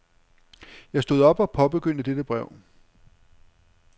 Jeg stod op og påbegyndte dette brev.